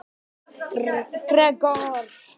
Gregor